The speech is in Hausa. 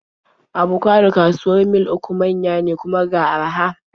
Abocadon kawuwar Mil 3 manya ne, kuma ga araha.